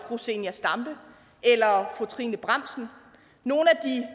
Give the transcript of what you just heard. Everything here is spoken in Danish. fru zenia stampe eller fru trine bramsen nogle af de